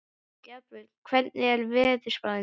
Dagbjörg, hvernig er veðurspáin?